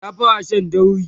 ta fara Shan dauri